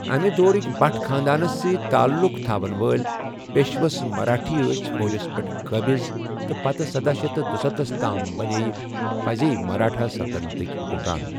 امہِ دورٕکۍ بَٹ خاندانس ستۍ تعلق تھاون وٲلۍ پیشوس مراٹھا ٲسۍ فوجس پٮ۪ٹھ قٲبِض تہٕ پتہٕ سدہ شیتھ دُسَتتھ تام بنے یہِ پزے مراٹھا سلطتنتکۍ حُکمران۔